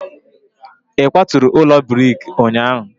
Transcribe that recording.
ị kwaturu ụlọ brik ụnyahụ?